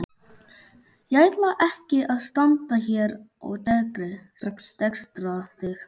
Ég ætla ekki að standa hér og dekstra þig.